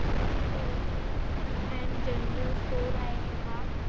Lakshmi provision and general store आहे हा.